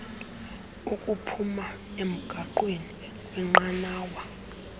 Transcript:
ukuphuma emgaqweni kwnqanawa